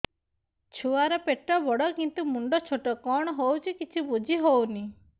ଛୁଆର ପେଟବଡ଼ କିନ୍ତୁ ମୁଣ୍ଡ ଛୋଟ କଣ ହଉଚି କିଛି ଵୁଝିହୋଉନି